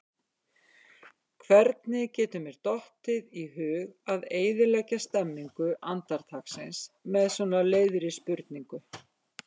Hvernig getur mér dottið í hug að eyðileggja stemmningu andartaksins með svo leiðri spurningu?